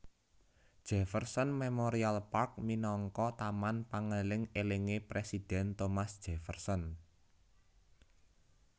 Jefferson Memorial Park minangka taman pangeling elingé Presiden Thomas Jefferson